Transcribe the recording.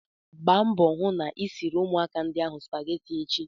Gba mbọ hụ na ị siri ụmụaka ndi ahụ spageti echi!